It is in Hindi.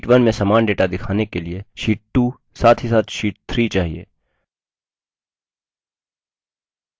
अब हमें sheet 2 में समान data दिखाने के लिए sheet 2 साथ ही साथ sheet 3 चाहिए